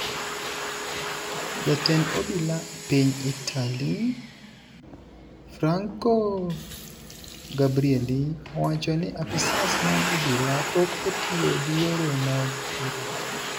Jatend obila e piny Italy, Franco Gabrielli, owacho ni apisas mag obila pok otiyo gi yore mag thiro ji.